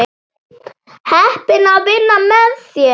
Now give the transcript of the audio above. Heppin að vinna með þér.